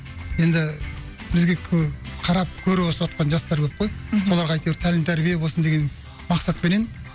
енді бізге қарап көріп өсіватқан жастар көп қой мхм соларға әйтеуір тәлім тәрбие болсын деген мақсатпенен